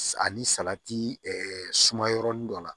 Ani salati suma yɔrɔnin dɔ la